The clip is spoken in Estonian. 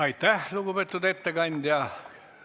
Aitäh, lugupeetud ettekandja!